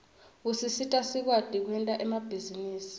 usisita sikwati kwenta emabhizinisi